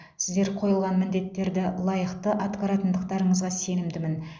сіздер қойылған міндеттерді лайықты атқаратындарыңызға сенімдімін